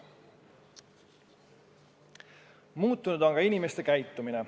Muutunud on ka inimeste käitumine.